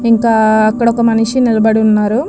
ఇంకా అక్కడ ఒక మనిషి నిలబడి ఉన్నాడు.